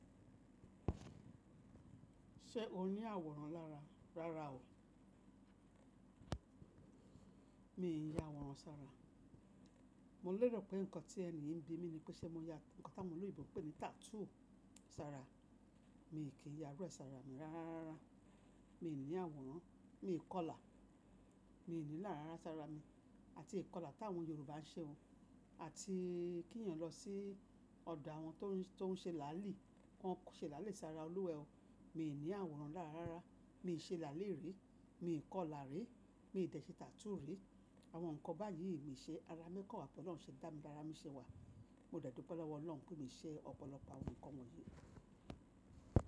Ṣé o ní àwòrán lára? Rárá o. Mi n yá àwòrán sára. Mo lérò pé nǹkan tí ẹni yi ń bi mi ni pé ṣé mo ya nǹkan táwọn oloyinbo ń pè ní tattoo sára. Mi kì í ya irú ẹsàrà mi rárárá. Mi ò ní àwòrán, mi kò là. Mi ò ní là ara sára mi àti ìkọlà tàwọn Yorùbá ń ṣe oh àti kí ènìyàn lọ sí ọ̀dọ̀ àwọn tó ń ṣe làálì. Wọn kò ṣe làálì sára Olúwẹ́e oh. Mii ní àwòrán làárárá, mii ṣe làálì rí, mii kò là rí, mii dẹ̀ ṣe tattoo rí. Àwọn nǹkan báyìí mi i ṣe. Ara mi kan wa, bo lọ́run ṣe dá mi, lara mi ṣe wà. Mo de dúpọ̀ lọ́wọ́ Ọlọ́run pé mii ṣẹ́ ọ̀pọ̀lọpọ̀ àwọn nǹkan wọ̀nyí.